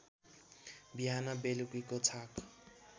बिहान बेलुकीको छाक